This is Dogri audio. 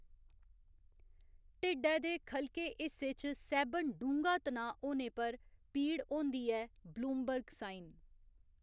ढिड्डै दे ख'लके हिस्से च सैह्‌‌‌बन डूंह्‌गा तनाऽ होने पर पीड़ होंदी ऐ ब्लूमबर्ग साइन।